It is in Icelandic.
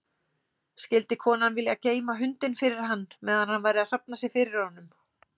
Skyldi konan vilja geyma hundinn fyrir hann meðan hann væri að safna sér fyrir honum?